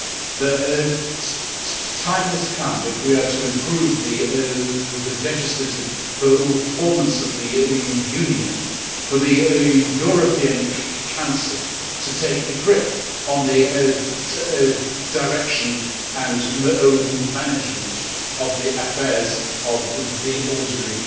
The time has come, if we are we are to improve the legislative performance of the Union, for the European Council to take a grip on the direction and management of the affairs of the ordinary